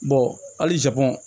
halisa